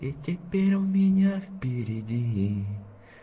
и теперь у меня впереди